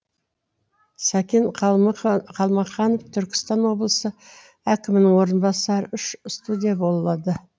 сәкен қалқаманов түркістан облысы әкімінің орынбасары үш студия болады